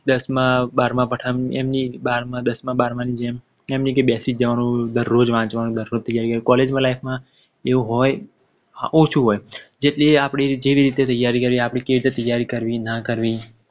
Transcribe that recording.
દસ માં બારમા ની જેમ ની કે દરોજ વાંચવા બેસી જવાનું દરોજ ત્યારી કરવાની College life માં એવું હોય ઓછું હોય જેવી રીતે આપણી ત્યારી કરીએ આપણે કેવી રીતે કરવી ના કરવી